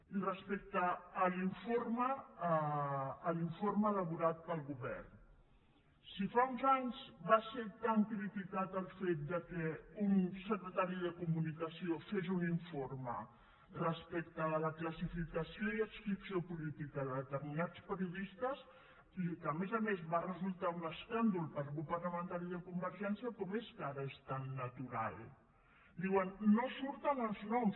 i respecte a l’informe elaborat pel govern si fa uns anys va ser tan criticat el fet que un secretari de comunicació fes un informe respecte de la classificació i adscripció política de determinats periodistes que a més a més va resultar un escàndol per al grup parlamentari de convergència com és que ara és tan natural diuen no en surten els noms